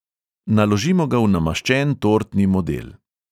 Naložimo ga v namaščen tortni model.